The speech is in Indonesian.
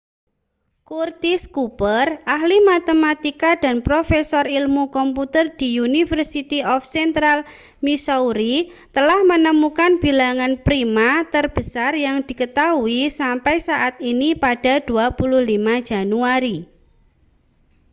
curtis cooper ahli matematika dan profesor ilmu komputer di university of central missouri telah menemukan bilangan prima terbesar yang diketahui sampai saat ini pada 25 januari